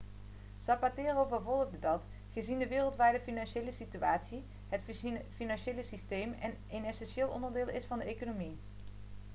zapatero vervolgde dat gezien de wereldwijde financiële situatie het financiële systeem een essentieel onderdeel is van de economie